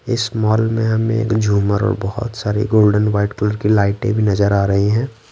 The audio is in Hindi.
इस मॉल में हमें झूमर और बहुत सारी गोल्डन वाइट कलर की लाइटें भी नजर आ रही हैं।